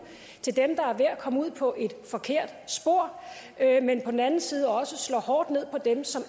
til dem der er ved at komme ud på et forkert spor men på den anden side også slår hårdt ned på dem som